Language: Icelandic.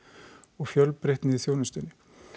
og fjölbreytni í þjónustunni